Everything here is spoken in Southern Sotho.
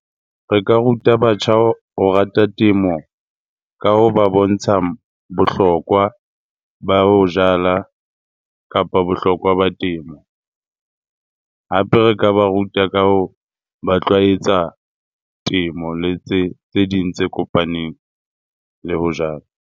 Re ka ruta batjha ho rata temo ka ho ba bontsha bohlokwa ba ho jala kapa bohlokwa ba temo. Hape re ka ba ruta ka ho ba tlwaetsa temo le tse ding tse kopaneng le ho jala.